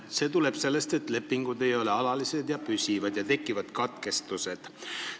See tuleb sellest, et lepingud ei ole alalised, ja nii tekivad katkestused.